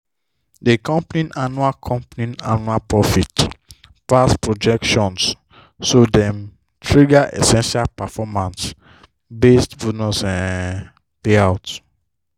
di company annual company annual profit pass projections so dem trigger essential performance-based bonus um payout.